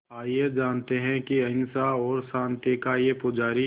आइए जानते हैं कि अहिंसा और शांति का ये पुजारी